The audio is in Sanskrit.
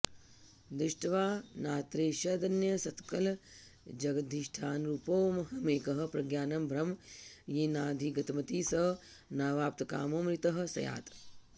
दृष्ट्वा नात्रेषदन्यत्सकलजगदधिष्ठानरूपोऽहमेकः प्रज्ञानं ब्रह्म येनाधिगतमिति स नावाप्तकामोऽमृतः स्यात्